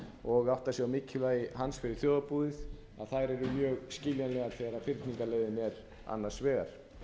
og átta sig á mikilvægi hans fyrir þjóðarbúið þær eru mjög skiljanlegar þegar fyrningarleiðin er annars vegar